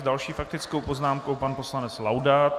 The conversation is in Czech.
S další faktickou poznámkou pan poslanec Laudát.